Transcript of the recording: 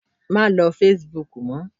Má lo Facebook mọ.